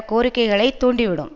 கோரிக்கைகளை தூண்டிவிடும்